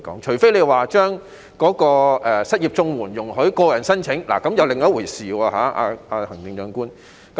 除非失業綜援容許個人申請，這又是另一回事。